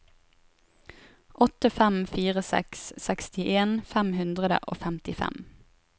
åtte fem fire seks sekstien fem hundre og femtifem